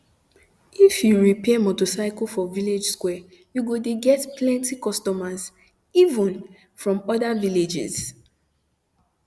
if you the repair motorcycle for village square u go de get plenty customers even from other villages